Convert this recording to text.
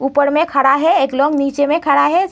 ऊपर में खड़ा है। एक लोग नीचे में खड़ा है।